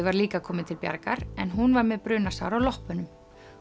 var líka komið til bjargar en hún var með brunasár á loppunum